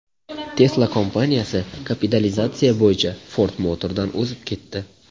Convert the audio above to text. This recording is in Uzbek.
Tesla kompaniyasi kapitalizatsiya bo‘yicha Ford Motor’dan o‘zib ketdi.